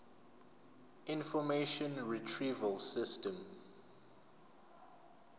information retrieval system